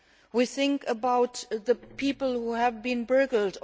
we think about the people who have been burgled